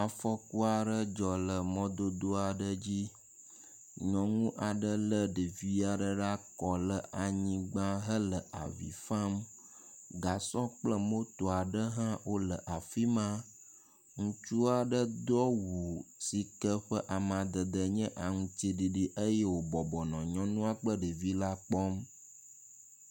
Afuku aɖe dzɔ ɖe mɔdodo aɖe dzi. Nyɔnu aɖe le ɖevi aɖe ɖe akɔ le anyigba hele avi fam. Gasɔ kple moto aɖe hã wo le afi ma. Ŋutsu aɖe do awu si ke ƒe amadede nye aŋtsiɖiɖi eye wo bɔbɔnɔ nyɔnua kple ɖevi la kpɔm.